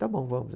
Está bom, vamos.